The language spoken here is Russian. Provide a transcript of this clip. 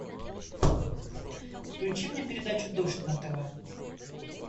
включи мне передачу дождь на тв